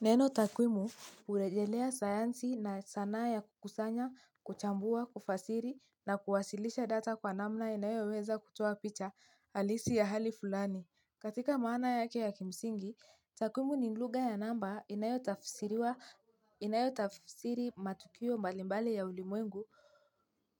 Neno takwimu urejelea sayansi na sanaa ya kukusanya, kuchambua, kufasiri na kuwasilisha data kwa namna inayo weza kutoa picha alisi ya hali fulani. Katika maana yake ya kimsingi, takwimu ni ngluga ya namba inayo tafsiri matukio mbalimbali ya ulimwengu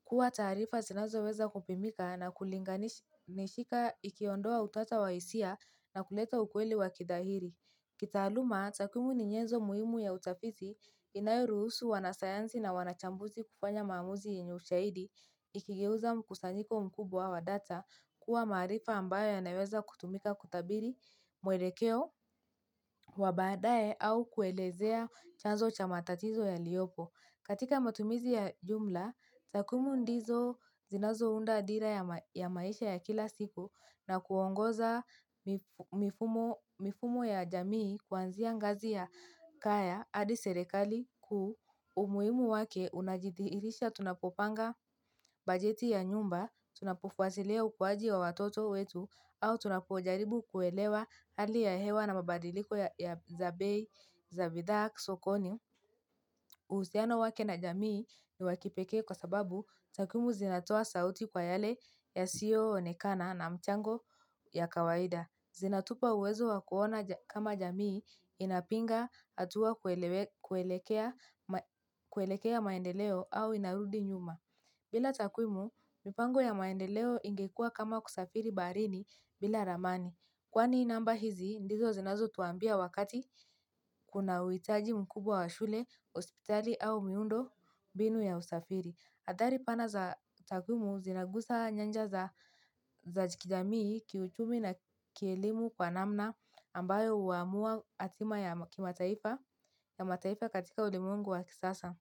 kuwa taarifa sinazo weza kupimika na kulinganishika ikiondoa utata wa hisia na kuleta ukweli wa kidahiri. Kitaaluma, takumu ni nyezo muhimu ya utafizi inayoruhusu wanasayanzi na wanachambuzi kufanya mamuzi inyushaidi ikigeuza kusanyiko mkubwa wa data kuwa maarifa ambayo yanaweza kutumika kutabiri mwelekeo wa badae au kuelezea chanzo cha matatizo yaliopo. Katika matumizi ya jumla, takwimu ndizo zinazo unda dira ya maisha ya kila siku na kuongoza mifumo ya jamii kuanzia ngazi ya kaya adi serekali ku umuimu wake unajitihirisha tunapopanga bajeti ya nyumba, tunapufwatilia ukuwaji wa watoto wetu, au tunapojaribu kuelewa hali ya hewa na mabadiliko ya Zabidhaa Sokoni. Uhusiano wake na jamii ni wakipeke kwa sababu takumu zinatoa sauti kwa yale yasio onekana na mchango ya kawaida. Zinatupa uwezo wa kuona kama jamii inapinga atua kuelekea maendeleo au inarudi nyuma. Bila takwimu mpango ya maendeleo ingekuwa kama kusafiri baharini bila ramani. Kwani namba hizi, ndizo zinazo tuambia wakati kuna uitaji mkubwa wa shule, ospitali au miundo mbinu ya usafiri. Athari pana za jamii zinaguza nyanja za jamii kiuchumi na kielimu kwa namna ambayo huamua hatua ya kimataifa ya mataifa katika ulimwengu wa sasa.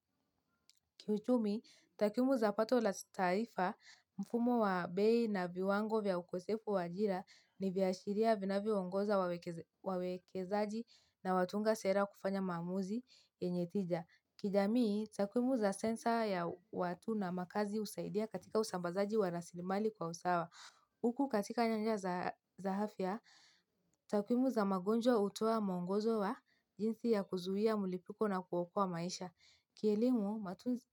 Kiuchumi, takumuza pato la taifa mfumo wa bei na viwango vya ukosefu wa ajira ni viashiria vinavyo ongoza wawekezaji na watunga sera kufanya mamuzi yenye tija. Kijamii, takwimu za sensa ya watu na makazi usaidia katika usambazaji wa rasilimali kwa usawa. Uku katika nyanja za afya, takwimu za magonjwa utoa mwongozo wa jintzi ya kuzuhia mulipiko na kuokua maisha. Kielimu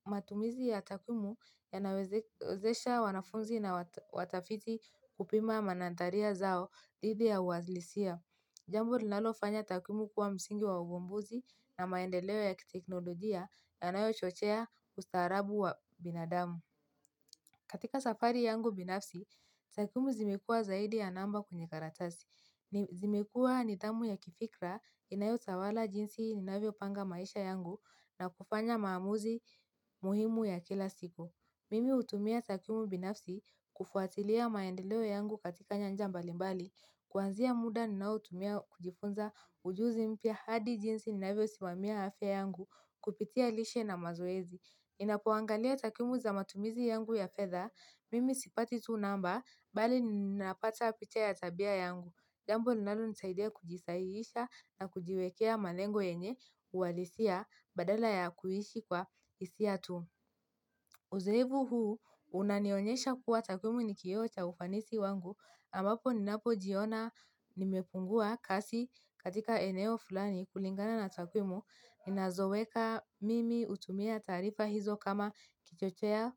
matumizi ya takwimu ya nawezesha wanafunzi na watafiti kupima manantaria zao dhidi ya uwazlisia. Jambo linalofanya takwimu kuwa msingi wa uvumbuzi na maendeleo ya kiteknolojia na anayo chochea ustaarabu wa binadamu. Katika safari yangu binafsi, takwimu zimekua zaidi ya namba kwenye karatasi. Nizimekua nidhamu ya kifikra inayotawala jinsi ninavyo panga maisha yangu na kufanya maamuzi muhimu ya kila siku Mimi utumia takumu binafsi kufuatilia maendeleo yangu katika nyanja mbalimbali kuanzia muda ninaotumia kujifunza ujuzi mpya hadi jinsi ninavyo simamia afyayangu kupitia lishe na mazoezi ninapoangalia takumu za matumizi yangu ya fedha, mimi sipati tu namba, bali ninapata picha ya tabia yangu. Gampo linalo nsaidia kujisaiisha na kujiwekea malengo yenye uwalisia badala ya kuhishi kwa isia tu. Uzoevu huu, unanionyesha kuwa takwimu nikio cha ufanisi wangu. Ambapo ninapo jiona nimepungua kasi katika eneo fulani kulingana na takwimu. Nina zoweka mimi utumia tarifa hizo kama kichocheo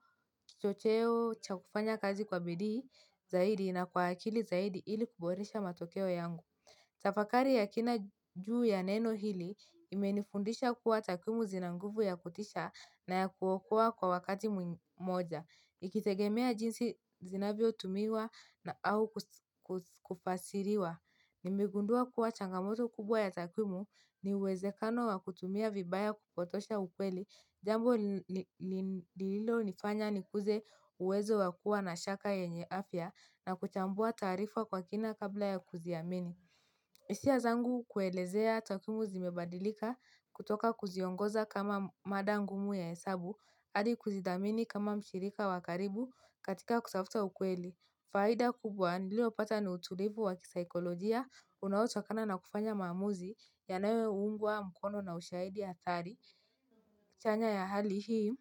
cha kufanya kazi kwa bidii zaidi na kwa akili zaidi ili kuboresha matokeo yangu. Tafakari ya kina juu ya neno hili imenifundisha kuwa takwimu zina nguvu ya kutisha na ya kuokoa kwa wakati mmoja. Ikitegemea jinsi zinavyotumiwa au kufasiriwa. Nimigundua kuwa changamoto kubwa ya takwimu ni uwezekano wa kutumia vibaya kupotosha ukweli. Jambo lililo nifanya ni kuze uwezo wakua na shaka yenye afya na kuchambua taarifa kwa kina kabla ya kuziamini. Isia zangu kuelezea takwimu zimebadilika kutoka kuziongoza kama mada ngumu ya hesabu, hadi kuzidhamini kama mshirika wakaribu katika kutafuta ukweli. Faida kubwa niliopata ni utulivu wa kisaikolojia unaotokana na kufanya maamuzi yanayo ungwa na ushahidi hatari. Chanya ya hali hii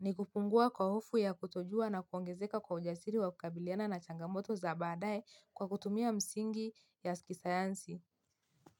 ni kupungua kwa hofu ya kutojua na kuongezeka kwa ujasiri wa kukabiliana na changamoto za baadaye kwa kutumia msingi ya kisayansi.